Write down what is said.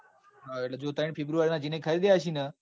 હા જો ત્રણ february ના જેને ખરીદ્યા હશે ન.